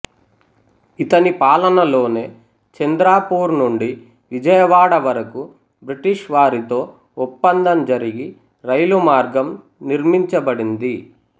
ఇతని పాలనలోనే చంద్రపూర్ నుండి విజయవాడ వరకు బ్రిటిష్ వారితో ఒప్పందం జరిగి రైలు మార్గం నిర్మించబడింది